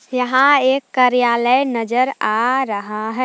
यहां एक कार्यालय नजर आ रहा है।